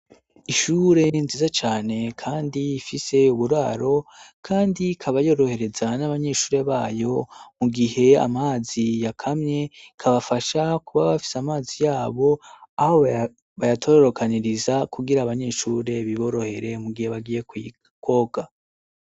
Ishure nziza cane, kandi ifise uburaro, kandi kabayorohereza n'abanyeshure bayo mu gihe amazi yakamye kabafasha kuba bafise amazi yabo aho bayatororokaniriza kugira abanyeshure biborohere mu gihe bagiye kw'ikoga.